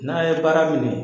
N'a ye baara minɛ